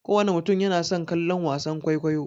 Kowana mutum yana son kallon wasan kwaikwayo.